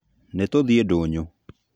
Nitũthiĩ ndũnyũ